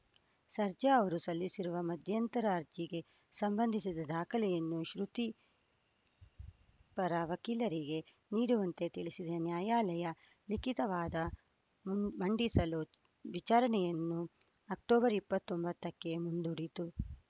ಸರ್ಜಾ ಅವರು ಸಲ್ಲಿಸಿರುವ ಮಧ್ಯಂತರ ಅರ್ಜಿಗೆ ಸಂಬಂಧಿಸಿದ ದಾಖಲೆಯನ್ನು ಶ್ರುತಿ ಪರ ವಕೀಲರಿಗೆ ನೀಡುವಂತೆ ತಿಳಿಸಿದ ನ್ಯಾಯಾಲಯ ಲಿಖಿತ ವಾದ ಮ್ ಮಂಡಿಸಲು ವಿಚಾರಣೆಯನ್ನು ಅಕ್ಟೋಬರ್ ಇಪ್ಪತ್ತ್ ಒಂಬತ್ತಕ್ಕೆ ಮುಂದೂಡಿತು